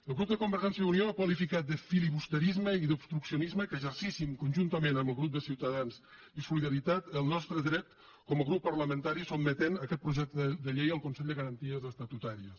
el grup de convergència i unió ha qualificat de filibusterisme i d’obstruccionisme que exercíssim conjuntament amb el grup de ciutadans i solidaritat el nostre dret com a grup parlamentari sotmetent aquest projecte de llei al consell de garanties estatutàries